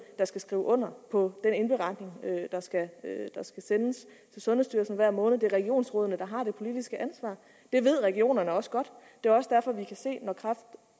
der skal skrive under på den indberetning der skal sendes til sundhedsstyrelsen hver måned det er regionsrådene der har det politiske ansvar det ved regionerne også godt og det er også derfor vi kan se